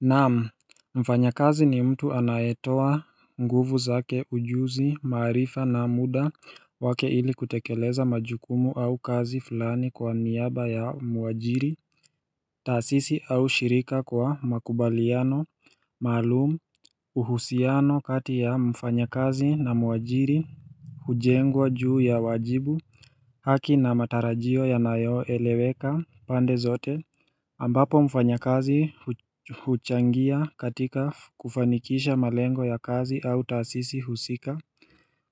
Naam, mfanyakazi ni mtu anayetoa nguvu zake ujuzi maarifa na muda wake ili kutekeleza majukumu au kazi fulani kwa niaba ya mwajiri taasisi au shirika kwa makubaliano, maalumu, uhusiano kati ya mfanyakazi na mwajiri hujengwa juu ya wajibu haki na matarajio yanayoeleweka pande zote ambapo mfanyakazi huchangia katika kufanikisha malengo ya kazi au taasisi husika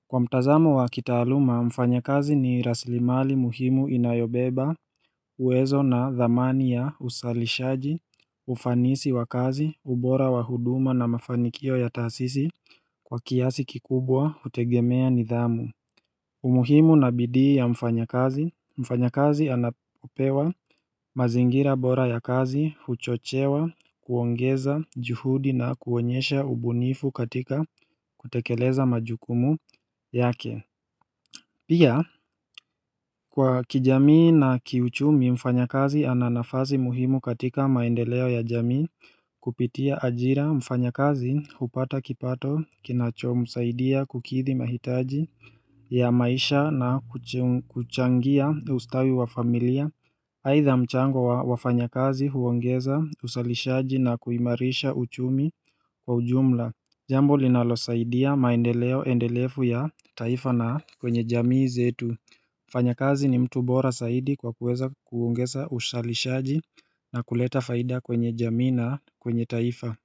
Kwa mtazamo wa kitaaluma, mfanyakazi ni raslimali muhimu inayobeba uwezo na dhamani ya usalishaji, ufanisi wa kazi, ubora wa huduma na mafanikio ya taasisi Kwa kiasi kikubwa, hutegemea nidhamu umuhimu na bidii ya mfanyakazi mfanyakazi anapopewa mazingira bora ya kazi, huchochewa, kuongeza juhudi na kuonyesha ubunifu katika kutekeleza majukumu yake Pia, kwa kijamii na kiuchumi, mfanyakazi ana nafazi muhimu katika maendeleo ya jamii kupitia ajira mfanyakazi, hupata kipato, kinachomsaidia, kukithi mahitaji ya maisha na kuchangia ustawi wa familia aidha mchango wa wafanyakazi huongeza usalishaji na kuimarisha uchumi kwa ujumla Jambo linalosaidia maendeleo endelevu ya taifa na kwenye jamii zetu mfanyakazi ni mtu bora saidi kwa kuweza kuongeza usalishaji na kuleta faida kwenye jamii na kwenye taifa.